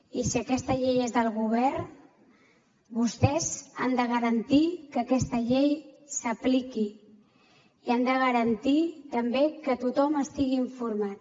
i si aquesta llei és del govern vostès han de garantir que aquesta llei s’apliqui i han de garantir també que tothom estigui informat